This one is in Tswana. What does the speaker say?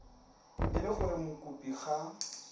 e le gore mokopi ga